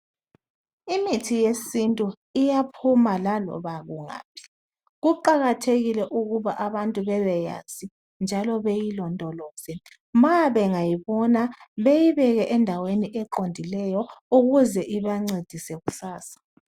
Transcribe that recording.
Imithi yesintu iyaphuma lalobakungaphi. Kuqakathekile ukuba abantu bebeyazi njalo beyilondoloze. Mabengayibona, beyibeke endaweni eqondileyo ukuze ibancedise kusasa.